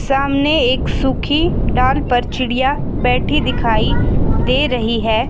सामने एक सूखी डाल पर चिड़िया बैठी दिखाई दे रही है।